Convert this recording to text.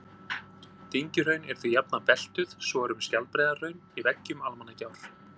Dyngjuhraun eru því jafnan beltuð, svo er um Skjaldbreiðarhraun í veggjum Almannagjár.